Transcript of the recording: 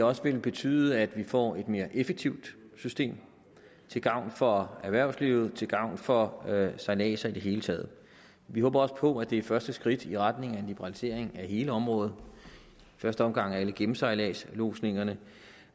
også vil betyde at vi får et mere effektivt system til gavn for erhvervslivet til gavn for sejladser i det hele taget vi håber også på at det er første skridt i retning af en liberalisering af hele området i første omgang af alle gennemsejladslodsningerne